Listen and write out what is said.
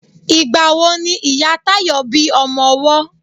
Ìgbà wo ni Ìyá Táyọ̀ bí ọmọ owọ́